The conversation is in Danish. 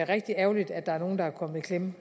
rigtig ærgerligt at der er nogle der er kommet i klemme